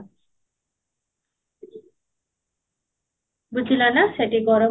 ବୁଝିଲ ନା ସେଠି ଗରମ